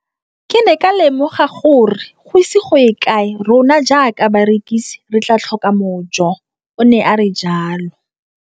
Ke ne ka lemoga gore go ise go ye kae rona jaaka barekise re tla tlhoka mojo, o ne a re jalo.